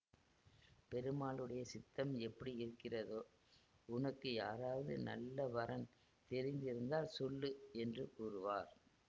பெருமாளுடைய சித்தம் எப்படியிருக்கிறதோ உனக்கு யாராவது நல்ல வரன் தெரிந்திருந்தால் சொல்லு என்று கூறுவார்